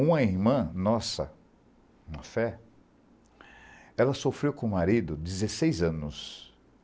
Uma irmã nossa, uma fé, ela sofreu com o marido dezesseis anos.